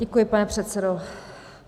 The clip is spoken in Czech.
Děkuji, pane předsedo.